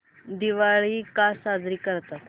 दिवाळी का साजरी करतात